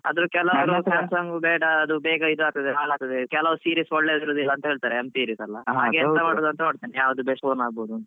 ಆದ್ರೆ ಕೆಲವು samsung ಬೇಡ, ಅದು ಬೇಗ ಹಾಳಾಗ್ತದೆ ಕೆಲವು series ಒಳ್ಳೆ ಇರುದಿಲ್ಲ. m series ಎಲ್ಲ ಹಾಗೆ ಎಂತ ಮಾಡುದ್ ಅಂತ ನೋಡ್ತೇನೆ. ಯಾವ್ದು best phone ಆಗ್ಬಹುದು ಅಂತ.